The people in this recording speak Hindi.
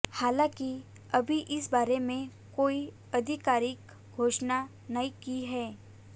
हालांकि अभी इस बारे में कोई आधिकारिक घोषणा नहीं की है